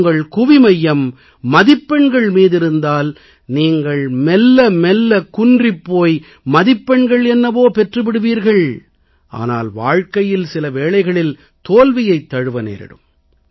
உங்கள் கவனம் மதிப்பெண்கள் மீதிருந்தால் நீங்கள் மெல்ல மெல்ல குன்றிப் போய் மதிப்பெண்கள் என்னவோ பெற்று விடுவீர்கள் ஆனால் வாழ்க்கையில் சில வேளைகளில் தோல்வியைத் தழுவ நேரிடும்